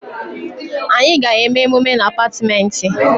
Anyị ga-eme emume na Apartmentị